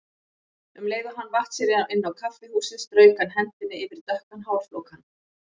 Um leið og hann vatt sér inn á kaffihúsið strauk hann hendinni yfir dökkan hárflókann.